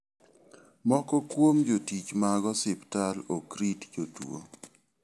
Moko kuom jotich mag osiptal ok rit jotuo.